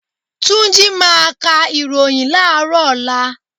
Túnjí máa ka ìròhìn láàrọ́ ọ̀la.